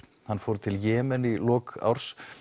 hann fór til Jemen í lok árs